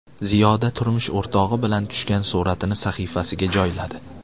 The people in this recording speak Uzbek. Ziyoda turmush o‘rtog‘i bilan tushgan suratini sahifasiga joyladi.